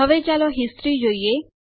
હવે ચાલો હિસ્ટ્રી જોઈએ